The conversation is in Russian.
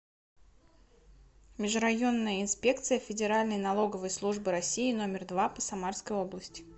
межрайонная инспекция федеральной налоговой службы россии номер два по самарской области